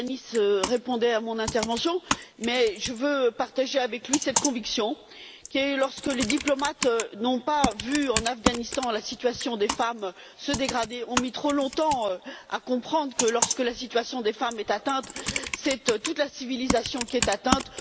Tajani répondait à mon intervention, mais je veux partager avec lui cette conviction qui est que lorsque les diplomates n'ont pas vu en Afghanistan la situation des femmes se dégrader, et ont mis trop longtemps à comprendre que lorsque la situation des femmes est atteinte, c'est toute la civilisation qui est atteinte.